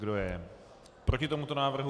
Kdo je proti tomuto návrhu?